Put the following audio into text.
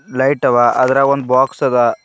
Light ಆವಾ ಅದರಾಗ ಒಂದ್ ಬಾಕ್ಸ್ ಅದ.